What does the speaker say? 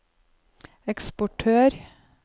eksportør